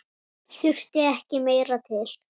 Þurfti ekki meira til.